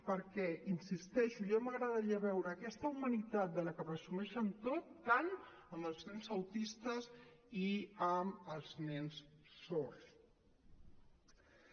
perquè hi insisteixo ja m’agradaria veure aquesta humanitat de la que presumeixen tots tant amb els nens autistes i amb els nens sords